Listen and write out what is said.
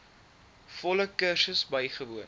volle kursus bywoon